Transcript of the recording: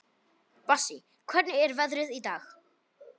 Bassí, hvernig er veðrið í dag?